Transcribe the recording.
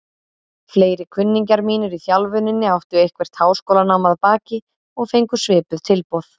Fleiri kunningjar mínir í þjálfuninni áttu eitthvert háskólanám að baki og fengu svipuð tilboð.